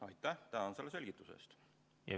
Aitäh sulle selgituse eest!